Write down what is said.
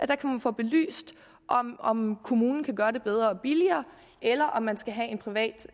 der kan man få belyst om kommunen kan gøre det bedre og billigere eller om man skal have en privat